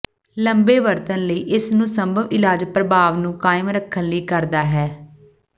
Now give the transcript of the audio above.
ਲੰਬੇ ਵਰਤਣ ਲਈ ਇਸ ਨੂੰ ਸੰਭਵ ਇਲਾਜ ਪ੍ਰਭਾਵ ਨੂੰ ਕਾਇਮ ਰੱਖਣ ਲਈ ਕਰਦਾ ਹੈ